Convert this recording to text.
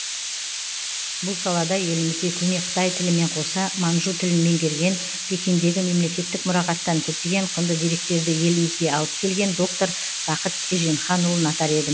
бұл салада елімізде көне қытай тілімен қоса манжу тілін меңгерген пекиндегі мемлекеттік мұрағаттан көптеген құнды деректерді елімізге алып келген доктор бақыт еженханұлын атар едім